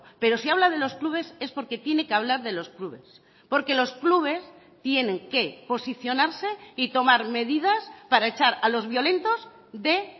pero si habla de los clubes es porque tiene que hablar de los clubes porque los clubes tienen que posicionarse y tomar medidas para echar a los violentos de